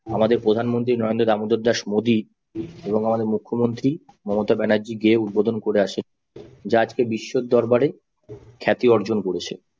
আমাদের প্রধানমন্ত্রী নরেন্দ্র দামোদর দাস মোদী এবং আমাদের মুখ্যমন্ত্রী মমতা ব্যানার্জি গিয়ে উদ্বোধন করে আসে যা আজকে বিশ্বের দরবারে খ্যাতি অর্জন করেছে